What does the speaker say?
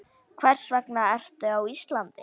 Hvers vegna ertu á Íslandi?